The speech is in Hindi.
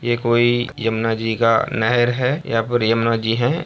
ये कोई यमुना जी का नहर है यहाँ पर यमुना जी हैं।